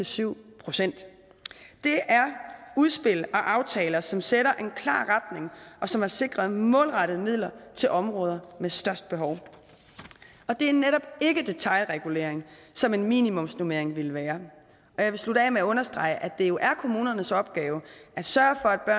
syv procent det er udspil og aftaler som sætter en klar retning og som har sikret målrettede midler til områder med størst behov det er netop ikke detailregulering som en minimumsnormering ville være jeg vil slutte af med at understrege at det jo er kommunernes opgave at sørge for at